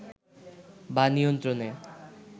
বা নিয়ন্ত্রণে